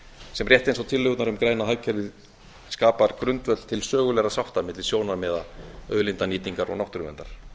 sem rétt eins og tillögurnar um græna hagkerfið skapar grundvöll til sögulegra sátta milli sjónarmiða auðlindanýtingar og náttúruverndar